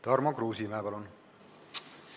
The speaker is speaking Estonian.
Tarmo Kruusimäe, palun!